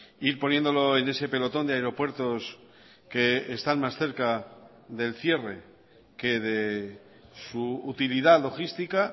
ir poniéndolo en ese pelotón de aeropuertos que están más cerca del cierre que de su utilidad logística